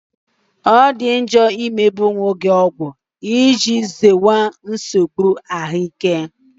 Ọ dị njọ ịme onwe gị ọgwụ, iji zere nsogbu ahụike.